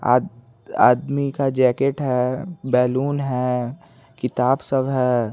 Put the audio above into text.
आद आदमी का जैकेट है बैलून है किताब सब है।